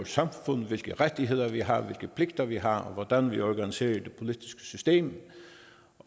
samfund hvilke rettigheder vi har hvilke pligter vi har hvordan vi organiserer et politisk system